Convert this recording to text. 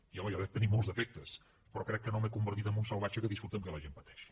i home jo dec tenir molts defectes però crec que no m’he convertit en un salvatge que disfruta pel fet que la gent pateixi